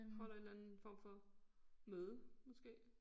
Holder en eller anden form for møde måske